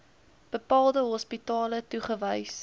bepaalde hospitale toegewys